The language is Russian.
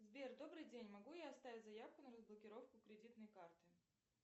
сбер добрый день могу я оставить заявку на разблокировку кредитной карты